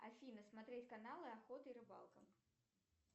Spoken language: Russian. афина смотреть каналы охота и рыбалка